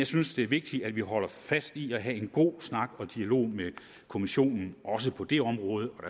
synes det er vigtigt at vi holder fast i at have en god snak og dialog med kommissionen også på det område og